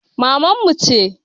Maman mu ce